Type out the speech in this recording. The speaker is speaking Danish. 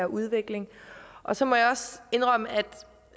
udvikling og så må jeg også indrømme at